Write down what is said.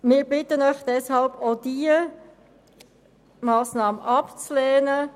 Wir bitten Sie deshalb, diese Massnahme abzulehnen.